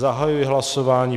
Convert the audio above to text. Zahajuji hlasování.